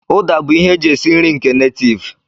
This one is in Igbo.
Uda bụ ihe e ji esi nri nke netiiv.